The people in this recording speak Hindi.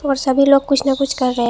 और सभी लोग कुछ ना कुछ कर रहे--